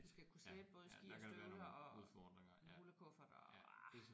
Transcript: Vi skal kunne slæbe både ski og støvler og en rullekuffert og ah